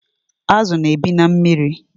Azu na-ebi na mmiri